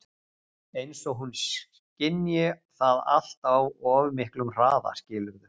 Eins og hún skynji það allt á of miklum hraða, skilurðu?